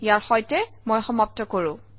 ইয়াৰ সৈতে মই সমাপ্ত কৰোঁ